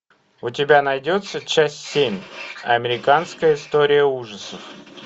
у тебя найдется часть семь американская история ужасов